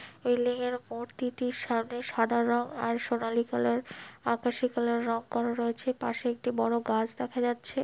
Building -এর মূর্তিটি সামনে সাদা রঙ আর সোনালী কালার আকাশী কালার রং করা রয়েছে পাশে একটি বড়ো গাছ দেখা যাচ্ছে।